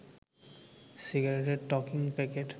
সিগারেটের talking packet